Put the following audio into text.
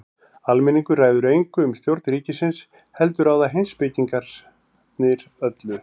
Almenningur ræður engu um stjórn ríkisins heldur ráða heimspekingarnir öllu.